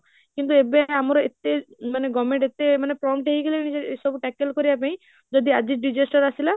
କିନ୍ତୁ ଏବେ ଆମର ଏତେ, government ଏତେ prompt ହେଇଗଲାଣି ଯେ ଏସବୁ tackle କରିବା ପାଇଁ, ଜଦି ଆଜି disaster ଆସିଲା